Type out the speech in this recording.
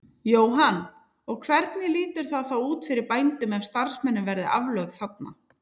Jóhann: Og hvernig lítur það þá út fyrir bænum ef að starfsemin verði aflögð þarna?